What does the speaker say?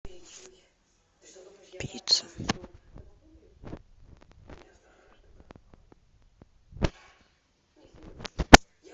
пицца